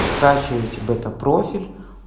скачивайте бета профиль